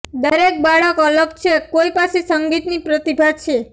દરેક બાળક અલગ છે કોઇ પાસે સંગીતની પ્રતિભા છે